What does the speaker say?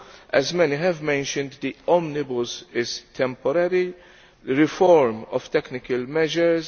As many have mentioned, the omnibus is a temporary reform of technical measures.